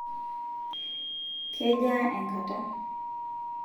kejaa enkata?